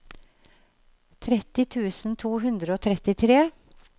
tretti tusen to hundre og trettitre